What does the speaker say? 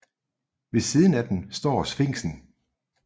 Ved siden af dem står Sfinksen